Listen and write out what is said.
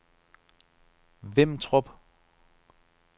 Vimtrup